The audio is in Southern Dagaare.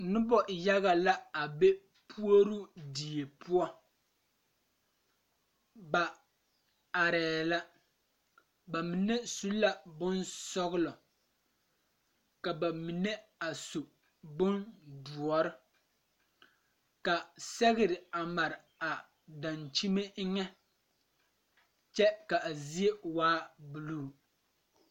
Nobɔ yaga la a be puoroo die poɔ ba arɛɛ la ba mine su la bonsɔglɔ ka ba mine a su bondoɔre ka sɛgre a mare a dankyime eŋɛ kyɛ ka a zie waa bluu.